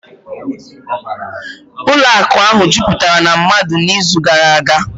ụlọ akụ ahụ jupụtara na mmadụ n'izu gara aga